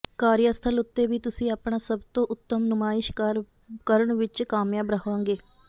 ਕਾਰਿਆਸਥਲ ਉੱਤੇ ਵੀ ਤੁਸੀ ਆਪਣਾ ਸੱਬਤੋਂ ਉੱਤਮ ਨੁਮਾਇਸ਼ ਕਰਣ ਵਿੱਚ ਕਾਮਯਾਬ ਰਹਾਂਗੇ